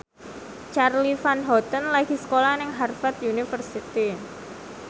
Charly Van Houten lagi sekolah nang Harvard university